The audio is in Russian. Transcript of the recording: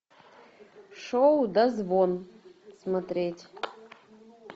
шоу дозвон смотреть